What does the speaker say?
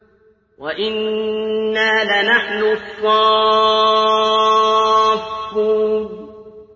وَإِنَّا لَنَحْنُ الصَّافُّونَ